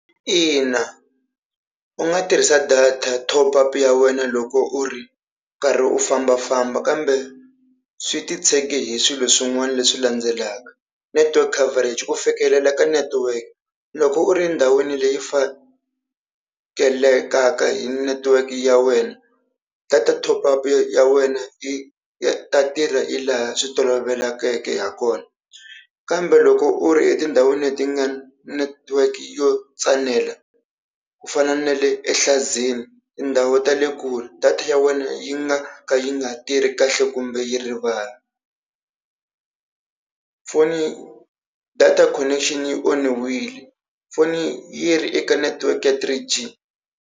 Ina u nga tirhisa data top-up ya wena loko u ri karhi u fambafamba kambe swi titshege hi swilo swin'wana leswi landzelaka, network coverage ku fikelela ka network, loko u ri endhawini leyi fakelelaka hi network ya wena, data top-up ya wena yi ta tirha hi laha swi tolovelekeke ha kona. Kambe loko u ri etindhawini leti nga na network yo tsanela ku fana na le Enhlanzeni, tindhawu ta le kule data ya wena yi nga ka yi nga tirhi kahle kumbe yi rivala. Foni data connection yi onhiwile foni yi ri eka network ya 3G.